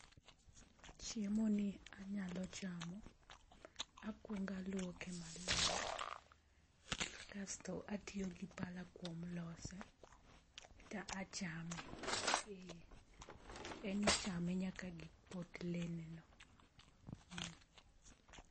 Chiemo ni anyalo chamo akwongo alwuoke ma ler kasto atiyo gi pala kuom lose to a chame en i chame nyaka gi potlele ne no.